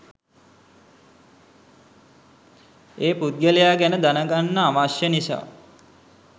ඒ පුද්ගලයා ගැන දැනගන්න අවශ්‍ය නිසා.